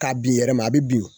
K'a bin yɛrɛ ma. A bi bin .